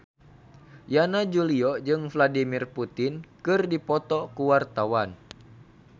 Yana Julio jeung Vladimir Putin keur dipoto ku wartawan